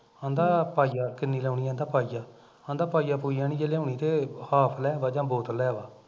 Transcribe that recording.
ਅਹਿੰਦਾ ਪਾਈਆ, ਕਿੰਨੀ ਲਾਉਣੀ ਕਹਿੰਦਾ ਪਾਈਆ ਕਹਿੰਦਾ ਪਾਈਆ ਪੁਈਆ ਨੀ ਜੇ ਲਿਆਉਣੀ ਤੇ half ਲੈ ਆਵਾ ਜਾਂ ਬੋਤਲ ਲੈ ਆਵਾ